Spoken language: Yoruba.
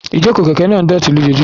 Ìjókòó kẹ̀kẹ́ náà ń dọ̀tí lójoojúmọ́.